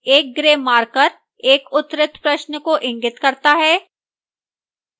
एक grey marker एक उत्तरित प्रश्न को इंगित करता है